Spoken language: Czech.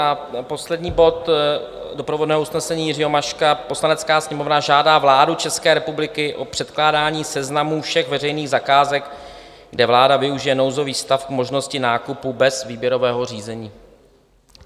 A poslední bod doprovodného usnesení Jiřího Maška: "Poslanecká sněmovna žádá vládu České republiky o předkládání seznamů všech veřejných zakázek, kde vláda využije nouzový stav k možnosti nákupu bez výběrového řízení."